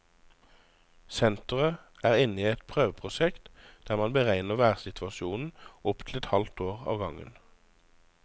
Senteret er inne i et prøveprosjekt, der man beregner værsituasjonen opp til et halvt år av gangen.